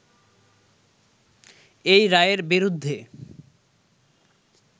এই রায়ের বিরুদ্ধে